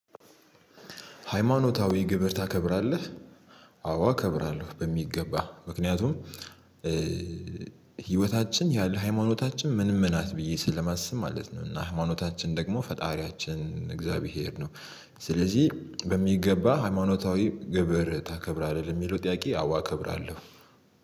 ሃይማኖታዊ ግብር ታከብራለህ? አዎ አከብራለሁ በሚገባ ምክንያቱም ህይወታችን ያለ ሃይማኖታችን ምንም ናት ብዬ ስለማስብ ማለት ነው። እና ሃይማኖታችን ደግሞ ፈጣሪያችን እግዚአብሔር ነው። ስለዚህ በሚገባ ሃይማኖታዊ ግብር ታከብራለህ የሚለው ጥያቄ አዋ ከብራለሁ።